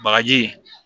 Bagaji